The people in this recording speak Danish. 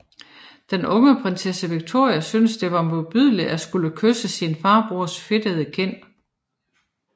Den unge prinsesse Victoria syntes det var modbydeligt at skulle kysse sin farbrors fedtede kind